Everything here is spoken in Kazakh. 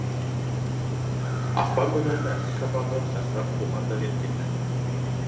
ақпан күнінің әлсіз шапағы шашырап бұған да жеткен ді